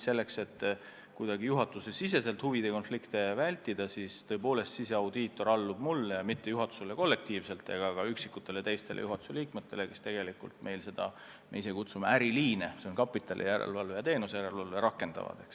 Selleks et juhatusesiseselt huvide konflikte vältida, tõepoolest siseaudiitor allub mulle, mitte juhatusele kollektiivselt ega ka üksikutele teistele juhatuse liikmetele, kes meil tegelikult seda järelevalvet, mida me ise kutsume "äriliinide", s.o kapitali ja teenuste järelevalveks, rakendavad.